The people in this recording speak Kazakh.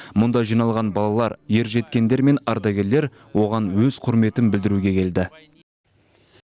мұнда жиналған балалар ержеткендер мен ардагерлер оған өз құрметін білдіруге келді